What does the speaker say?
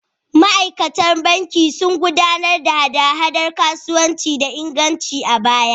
Ma’aikatan banki sun gudanar da hada-hadar kasuwanci da inganci a baya.